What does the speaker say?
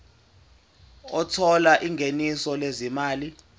othola ingeniso lezimali